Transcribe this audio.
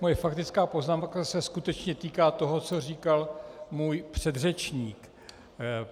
Moje faktická poznámka se skutečně týká toho, co říkal můj předřečník.